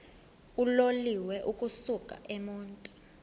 uloliwe ukusuk emontini